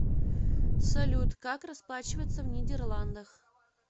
салют как расплачиваться в нидерландах